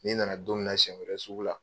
N'i na na don min na siyɛn wɛrɛ sugu la.